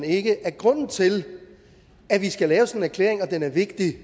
ikke at grunden til at vi skal lave sådan en erklæring og at den er vigtig